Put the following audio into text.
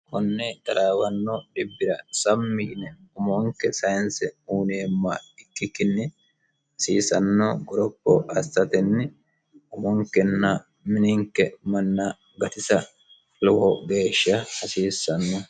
konne daraawanno dibbira sammi yine umonke sayinse uuneemma ikkikkinni hasiisanno goropo astatenni umonkenna mininke manna gatisa lowo geeshsha hasiissanno